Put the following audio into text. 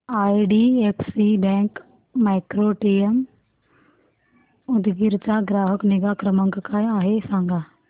IDFC bank micro ATM Udgir चा ग्राहक निगा क्रमांक काय आहे सांगा